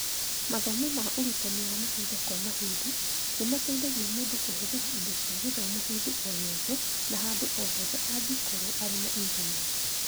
Mathomo ma ũrutani wa mahinda kwa mahinda nĩ mateithagia mũndũ kũhũthĩra indo cia gĩthomo hĩndĩ o yothe na handũ o hothe angĩkorũo arĩ na Intaneti.